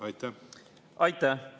Aitäh!